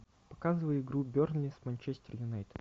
показывай игру бернли с манчестер юнайтед